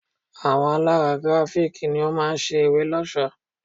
Àwọn alárà Grafik ni ó máa ṣe ìwé lọ́ṣọ̀ọ́.